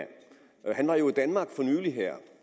han var jo i danmark for nylig